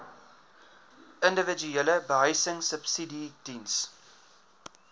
individuele behuisingsubsidies diens